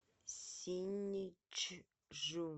синьчжу